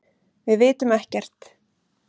Við vitum ekki neitt.